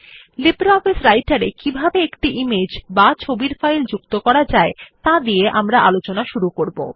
LibreOffice রাইটের এ কিভাবে একটি ইমেজ বা ছবির ফাইল যুক্ত করা যায় তা দিয়ে আমরা আলোচনা শুরু করব